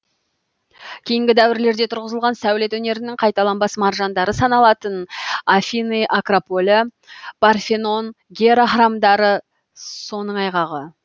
кейінгі дәуірлерде тұрғызылған сәулет өнерінің қайталанбас маржандары саналатын афины акрополі парфенон гера храмдары соныңайғағы